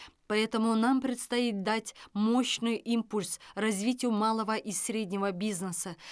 поэтому нам предстоит дать мощный импульс развитию малого и среднего бизнеса